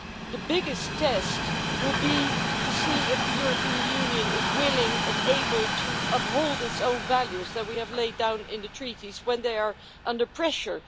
The biggest test will be to see if the European Union is willing and able to uphold its own values, which we have laid down in the Treaties, when they are under pressure.